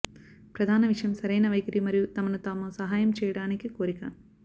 ప్రధాన విషయం సరైన వైఖరి మరియు తమను తాము సహాయం చేయడానికి కోరిక